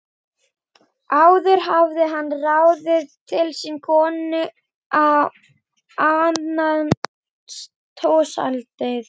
Áður hafði hann ráðið til sín konu að annast húshaldið.